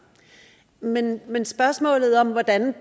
men men spørgsmålet om hvordan vi